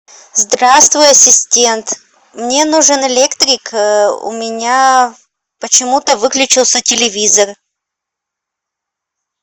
здравствуй ассистент мне нужен электрик у меня почему то выключился телевизор